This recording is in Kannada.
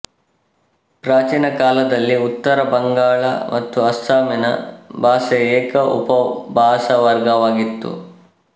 ಪ್ರಾಚೀನ ಕಾಲದಲ್ಲಿ ಉತ್ತರ ಬಂಗಾಳ ಮತ್ತು ಅಸ್ಸಾಮಿನ ಭಾಷೆ ಏಕ ಉಪಭಾಷಾವರ್ಗವಾಗಿತ್ತು